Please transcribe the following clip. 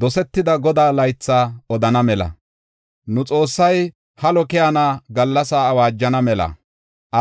Dosetida Godaa laytha odana mela, nu Xoossay halo keyana gallasaa awaajana mela,